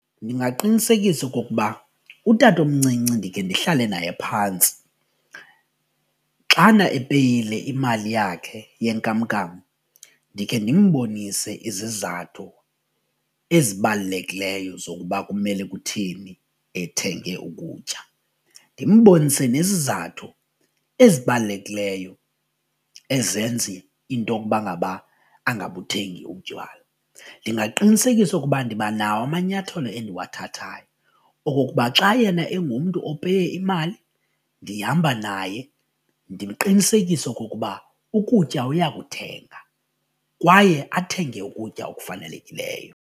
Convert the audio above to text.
Ndingaqinisekisa okokuba utatomncinci ndikhe ndihlale naye phantsi. Xana epeyile imali yakhe yenkamnkam ndikhe ndimbonise izizathu ezibalulekileyo zokuba kumele kutheni ethenge ukutya, ndimbonise nezizathu ezibalulekileyo ezenza intokuba ngaba angabuthengi utywala. Ndingaqinisekisa okuba ndiba nawo amanyathelo endiwathathayo okokuba xa yena engumntu opeye imali ndihamba naye ndiqinisekise okokuba ukutya uyakuthenga kwaye athenge ukutya okufanelekileyo.